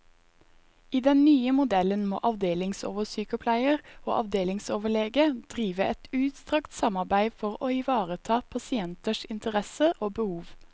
I den nye modellen må avdelingsoversykepleier og avdelingsoverlege drive et utstrakt samarbeide for å ivareta pasienters interesser og behov.